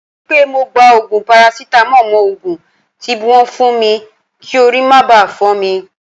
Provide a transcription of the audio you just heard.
Mo ri pe mo gba ogun parasitamo mo ogun tibwon fun mi ki ori ma ba fo mi.